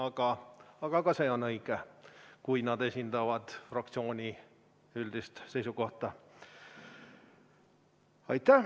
Samas ka see on õige, kui nad esindavad fraktsiooni üldist seisukohta.